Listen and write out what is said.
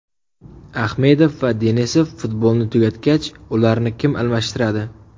Ahmedov va Denisov futbolni tugatgach, ularni kim almashtiradi?